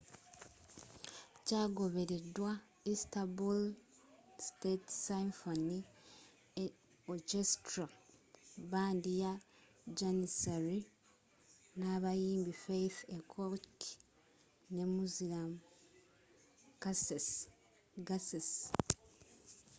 kyagobereddwa istanbul state symphony orchestra bbandi ya janissary n’abayimbi fatih erkoç ne müslüm gürses